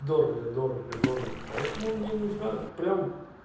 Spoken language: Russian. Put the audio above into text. дорого дорого дорого поэтому мне нужно прямо